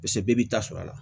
Piseke bɛɛ b'i ta sɔrɔ a la